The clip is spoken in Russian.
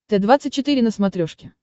т двадцать четыре на смотрешке